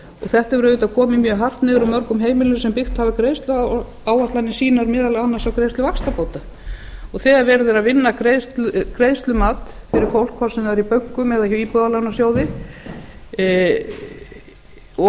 þetta hefur auðvitað komið mjög hart niður á mörgum heimilum sem byggt hafa greiðsluáætlanir sínar meðal annars á greiðslu vaxtabóta þegar verið er að vinna greiðslumat fyrir fólk hvort sem það er í bönkum eða hjá íbúðalánasjóði og